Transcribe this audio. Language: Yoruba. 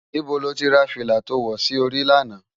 Nibó ló ti rá filá tó wò si óri làná?